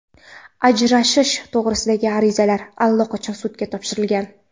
Ajrashish to‘g‘risidagi arizalar allaqachon sudga topshirilgan.